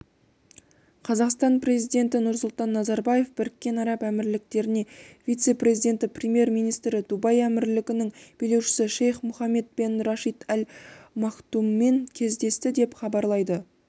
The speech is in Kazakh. қазақстан президенті нұрсұлтан назарбаев біріккен араб әмірліктерінің вице-президенті премьер-министрі дубай әмірлігінің билеушісі шейх мұхаммед бен рашид әл мактуммен кездесті деп хабарлайды